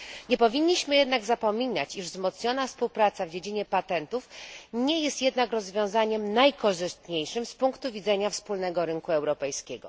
Nie powinniśmy jednak zapominać, iż wzmocniona współpraca w dziedzinie patentów nie jest jednak rozwiązaniem najkorzystniejszym z punktu widzenia wspólnego rynku europejskiego.